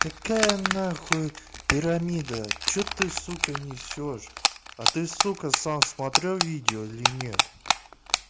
какая на хуй пирамида что ты сука несёшь а ты сука сам смотрел видео или нет